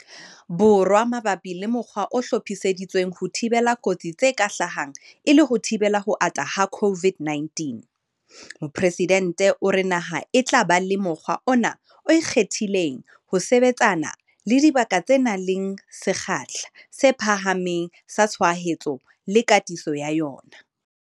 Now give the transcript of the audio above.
Borwa mabapi le mokgwa o hlophiseditsweng ho thibela kotsi tse ka hlahang e le ho thibela ho ata ha COVID-19, Mopresidente o re naha e tla ba le mokgwa ona o ikgethileng ho sebetsana le dibaka tse nang le sekgahla se phahameng sa tshwaetso le katiso ya yona.